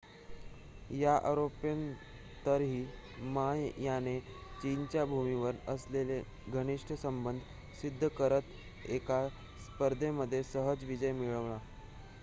या आरोपांनंतरही मा याने चीनच्या भूमीबरोबर असलेले घनिष्ट संबंध सिद्ध करत एका स्पर्धेमध्ये सहज विजय मिळवला